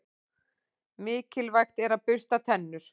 Mikilvægt er að bursta tennur.